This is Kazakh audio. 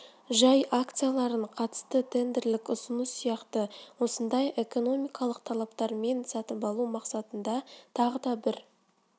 жай акцияларын қатысты тендерлік ұсыныс сияқты осындай экономикалық талаптармен сатып алу мақсатында тағы да бір